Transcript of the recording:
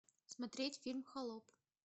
смотреть фильм холоп